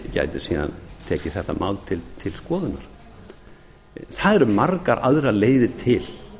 gæti síðan tekið þetta mál til skoðunar það eru margar leiðir til